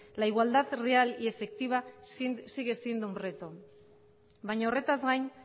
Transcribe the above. la igualdad real y efectiva sigue siendo un reto baina horretaz gain